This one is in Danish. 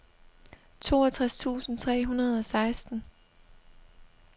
toogtres tusind tre hundrede og seksten